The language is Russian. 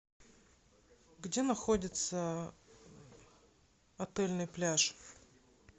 где находится отельный пляж